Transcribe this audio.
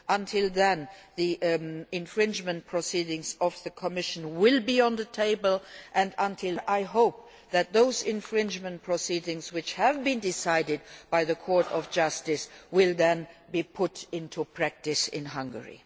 Until then the infringement proceedings by the Commission will be on the table, and I hope that the infringement proceedings which have been decided by the Court of Justice will be put into practice in Hungary.